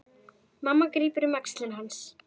Mamma grípur um axlir hans.